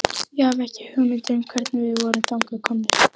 Ég hafði ekki hugmynd um hvernig við vorum þangað komnir.